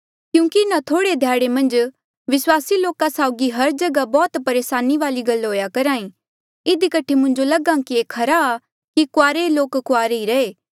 क्यूंकि इन्हा ध्याड़े मन्झ विस्वासी लोका साउगी हर जगहा बौह्त परेसानिया वाली गल्ला हुई करहा ई इधी कठे मुंजो लगहा कि ये खरा कि कुआरे लोक कुआरे ही रहे